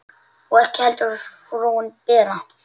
Og ekki heldur frúin Bera.